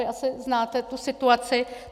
Vy asi znáte tu situaci.